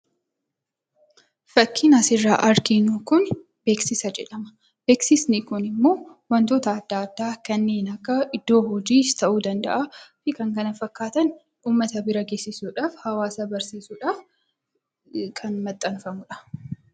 Fakkiin asirraa arginu kun beeksisa jedhama. Beeksisni kun immoo wantoota adda addaa kanniin akka iddoo hojiis ta'uu danda'aa fi kan kana fakkaatan uummata bira geessisuudhaaf, hawaasa barsiisuudhaaf kan maxxanfamudha.